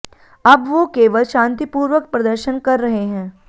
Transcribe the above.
अब वो केवल शांतिपूर्वक प्रदर्शन कर रहे हैं